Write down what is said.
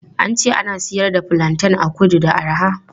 An ce ana siyar da fulanten a kudu da arha.